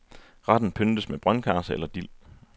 Retten pyntes med brøndkarse eller dild.